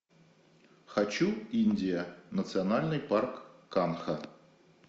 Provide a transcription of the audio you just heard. хочу индия национальный парк канха